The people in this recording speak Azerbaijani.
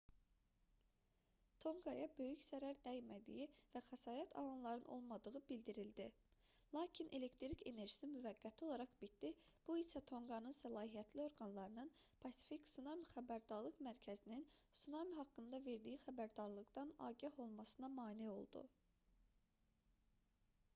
tonqaya böyük zərər dəymədiyi və xəsarət alanların olmadığı bildirildi lakin elektrik enerjisi müvəqqəti olaraq itdi bu isə tonqanın səlahiyyətli orqanlarının pasifik tsunami xəbərdarlıq mərkəzinin tsunami haqqında verdiyi xəbərdarlıqdan agah olmasına mane oldu